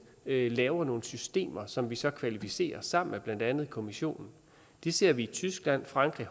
laver nogle systemer som vi så kvalificerer sammen med blandt andet kommissionen det ser vi i tyskland frankrig